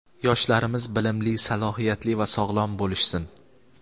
Yoshlarimiz bilimli, salohiyatli va sog‘lom bo‘lishsin.